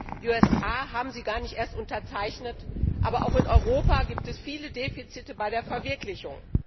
Die USA haben sie gar nicht erst unterzeichnet, aber auch in Europa gibt es viele Defizite bei der Verwirklichung.